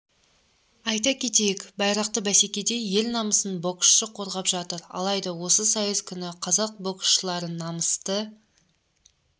айта кетейік байрақты бәсекеде ел намысын боксшы қорғап жатыр алайда осы сайыс күні қазақ боксшылары намысты